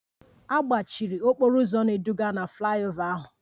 A gbochiri okporo ụzọ na-eduga na flyover ahụ